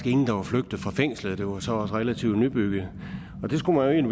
der var flygtet fra fængslet det var så også relativt nybygget det skulle man